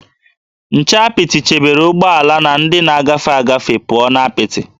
Nche apịtị chebere ụgbọala na ndị na-agafe agafe pụọ na apịtị